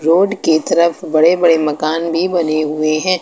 Board की तरफ बड़े बड़े मकान भी बने हुए हैं।